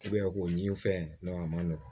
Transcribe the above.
k'o ɲini fɛn a man nɔgɔn